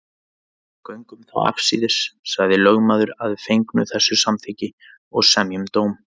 Göngum þá afsíðis, sagði lögmaður að fengnu þessu samþykki, og semjum dóm.